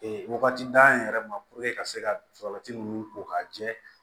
Ee wagati d'an yɛrɛ ma puruke ka se ka salati ninnu ko ka jɛ